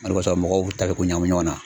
O de kosɔn mɔgɔw be tarikuw ɲagami ɲɔgɔn na.